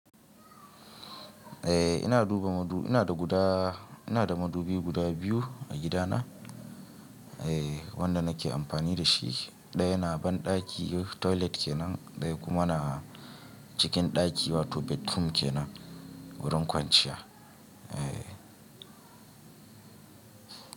Eh ina duba madubi, ina da guda, ina da madubi guda biyu a gidana. Eh wanda nake amfani da shi. Ɗaya na banɗaki toilet kenan, ɗaya kuma na cikin ɗaki wato bedroom kenan wurin kwanciya. Eh.